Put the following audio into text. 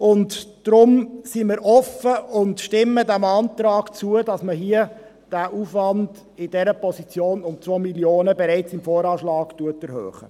Deshalb sind wir offen und stimmen dem Antrag zu, den Aufwand in dieser Position um 2 Mio. Franken bereits im VA 2020 zu erhöhen.